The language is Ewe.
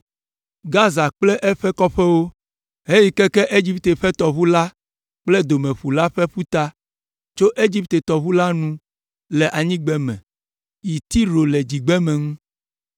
Gaza kple eƒe kɔƒewo, heyi keke Egipte ƒe tɔʋu la kple Domeƒu la ƒe ƒuta, tso Egipte tɔʋu la nu le anyigbeme yi Tiro le dzigbeme ŋu.